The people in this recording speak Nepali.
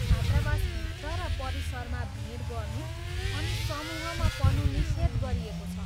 छात्रावासभित्र र परिसरमा भिड गर्नु अनि समूहमा पढ्नु निषेध गरिएको छ।